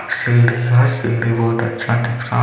सीढी है सीढी बोहत अच्छा दिख रहा--